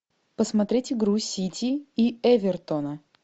посмотреть игру сити и эвертона